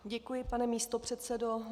Děkuji, pane místopředsedo.